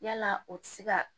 Yala o tɛ se ka